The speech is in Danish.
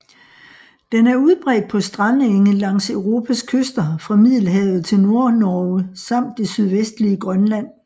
Den er udbredt på strandenge langs Europas kyster fra Middelhavet til Nordnorge samt det sydvestlige Grønland